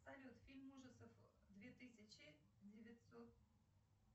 салют фильм ужасов две тысячи девятьсот